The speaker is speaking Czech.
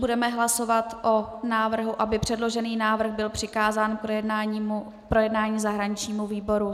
Budeme hlasovat o návrhu, aby předložený návrh byl přikázán k projednání zahraničnímu výboru.